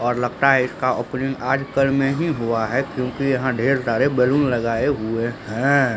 और लगता है इसका ओपनिंग आजकल में ही हुआ है क्युकी यहाँ ढ़ेर सारे बैलून लगाए हुए हैं।